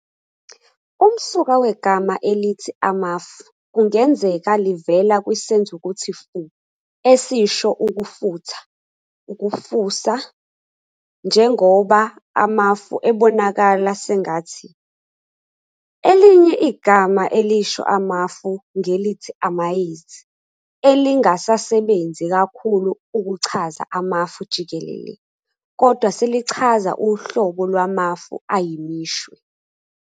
Umsuka wegama elithi "Amafu" kungenzeka livela kwisenzukuthi fu esisho ukufutha, ukufusa, njengoba amafu ebonakala sengathi. Elinye igama elisho amafu ngelithi "amayezi" elingasasebenzi kakhulu ukuchaza Amafu jikelele, kodwana selichaza uhlobo lwamafu ayimishwe.